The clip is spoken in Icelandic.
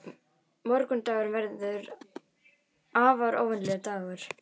Morgundagurinn verður afar óvenjulegur dagur.